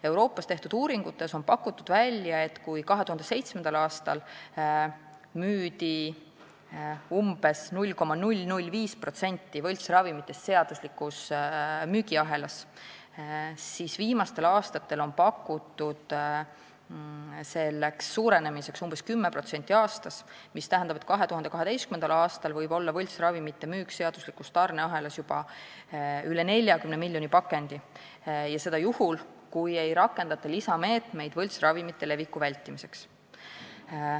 Euroopas tehtud uuringute järgi müüdi 2007. aastal umbes 0,005% võltsravimitest seaduslikus müügiahelas, kuid viimastel aastatel on pakutud selle mahu suurenemiseks umbes 10% aastas, mis tähendab, et 2020. aastal võib võltsravimite müük seaduslikus tarneahelas olla juba üle 40 miljoni pakendi, seda juhul, kui ei võeta lisameetmeid võltsravimite leviku vältimiseks.